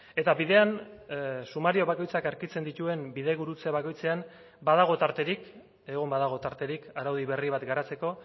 eta bidean sumario bakoitzak aurkitzen dituen bidegurutze bakoitzean badago tarterik egon badago tarterik araudi berri bat garatzeko